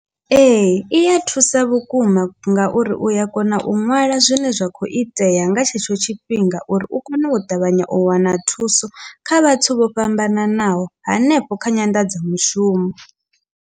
Ee, i ya thusa vhukuma ngauri u ya kona u ṅwala zwine zwa kho itea nga tshetsho tshifhinga uri u kone u ṱavhanya u wana thuso kha vhathu vho fhambananaho hanefho kha nyanḓadzomushumo.